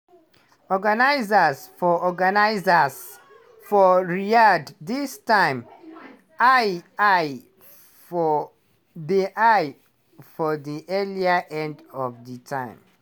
organisers for organisers for riyadh dis time eye eye for di eye for di earlier end of di time.